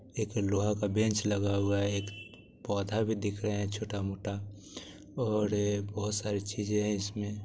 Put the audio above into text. एक लोहा का बेंच लगा हुआ है एक पोधा भी दिख रहे है छोटा मोटा ओर बोहोत सारी चीजे है इसमे--